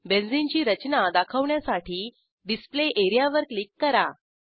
benzene ची रचना दाखवण्यासाठी डिस्प्ले एरियावर क्लिक करा